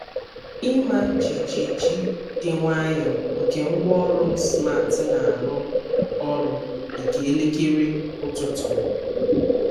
Ịma jijiji dị nwayọọ nke ngwaọrụ m smart na-arụ ọrụ dị ka elekere ụtụtụ m.